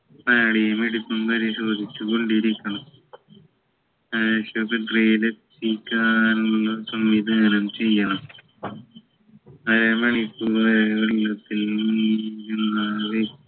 നാഡീ മിടിപ്പും പരിശോധിച്ച് കൊണ്ടിരിക്കണം ആശുപത്രിയിലെത്തിക്കാനുള്ള സംവിധാനം ചെയ്യണം അരമണിക്കൂറായി വെള്ളത്തിൽ വീണാല്